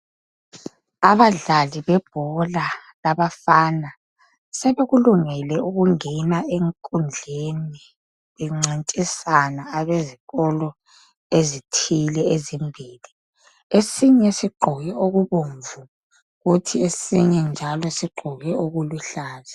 Abadlali bebhola labafana sebekulungele ukungena enkundleni bencintisana abezikolo ezithile ezimbili. Esinye sigqoke okubomvu kuthi esinye njalo sigqoke okuluhlaza.